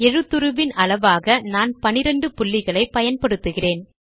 எழுத்துருவின் அளவாக நான் 12 புள்ளிகளை பயன்படுத்துகிறேன்